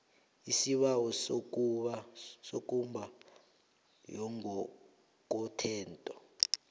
isibawo sekomba yangokothetho